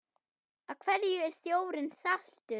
Af hverju er sjórinn saltur?